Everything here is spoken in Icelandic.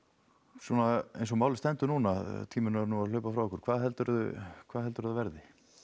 svona eins og málið stendur núna tíminn er nú að hlaupa frá okkur hvað heldurðu hvað heldurðu að verði